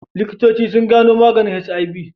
Likitoci suna gano maganin HIV.